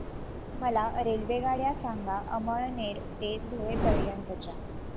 मला रेल्वेगाड्या सांगा अमळनेर ते धुळे पर्यंतच्या